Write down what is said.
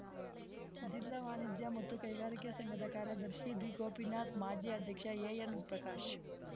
ಜಿಲ್ಲಾ ವಾಣಿಜ್ಯ ಮತ್ತು ಕೈಗಾರಿಕೆ ಸಂಘದ ಕಾರ್ಯದರ್ಶಿ ಬಿಗೋಪಿನಾಥ್‌ ಮಾಜಿ ಅಧ್ಯಕ್ಷ ಎಎನ್‌ ಪ್ರಕಾಶ್‌